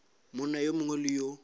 monna yo mongwe le yo